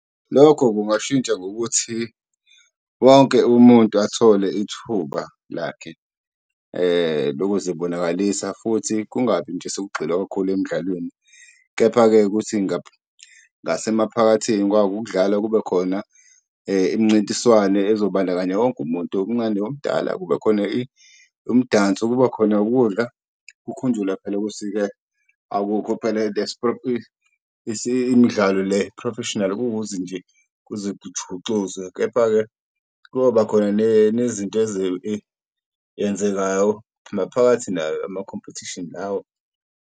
Lokho kungashintsha ngokuthi wonke umuntu athole ithuba lakhe lokuzibonakalisa futhi kungabi nje sekugxilwa kakhulu emdlalweni, kepha-ke ukuthi ngasemphakathini kwako ukudlala, kube khona imincintiswane ezobandakanya wonke umuntu omncane, omdala, kube khona umdanso, kuba khona ukudla kukhunjulwa phela ukuthi-ke imidlalo le professionally kuze kujuxuze. Kepha-ke kuyoba khona nezinto maphakathi nayo amakhompethishini lawo.